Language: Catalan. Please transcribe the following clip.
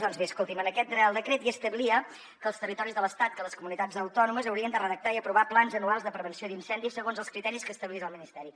doncs bé escolti’m en aquest reial decret hi establia que els territoris de l’estat que les comunitats autònomes haurien de redactar i aprovar plans anuals de prevenció d’incendis segons els criteris que establís el ministeri